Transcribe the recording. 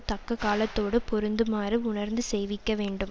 தக்க காலத்தோடு பொறுந்துமாறு உணர்ந்து செய்விக்க வேண்டும்